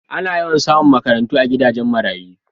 A na yawan samu makaranta a gidajen marayu